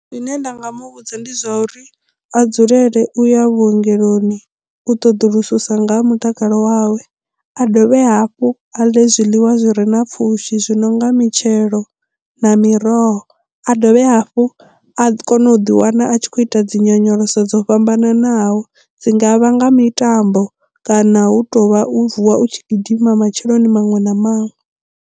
Zwine nda nga muvhudza ndi zwa uri a dzulele u ya vhuongeloni u ṱoḓulususa nga ha mutakalo wawe a dovhe hafhu a ḽe zwiḽiwa zwi re na pfhushi zwi no nga mitshelo na miroho a dovhe hafhu a kone u ḓi wana a tshi khou ita dzi nyonyoloso dzo fhambananaho dzi ngavha nga mitambo kana hu tou vha u vuwa u tshi gidima matsheloni maṅwe na maṅwe.